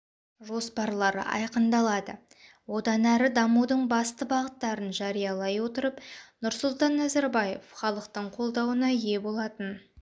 жоспарлары айқындалады одан әрі дамудың басты бағыттарын жариялай отырып нұрсұлтан назарбаев халықтың қолдауына ие болатын